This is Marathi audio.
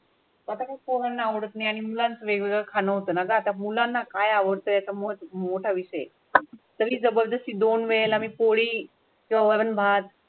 आता काय पोरांना आवडत नाही आणि मुलांच वेगवेगळा खाणं होतं ना? आता मुलांना काय आवडतं याचा मोठ मोठय़ाविषयी तरी जबरदस्ती दोन मिळेल आणि पोळी किंवा भात.